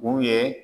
U ye